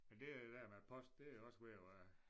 Men det er det der med post det er også ved at være